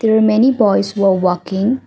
many boys were walking.